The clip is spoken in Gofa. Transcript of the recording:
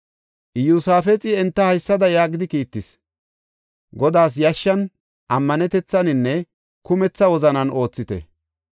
Iyosaafexi enta haysada yaagidi kiittis; “Godaas yashshan, ammanetethaninne kumetha wozanan oothite.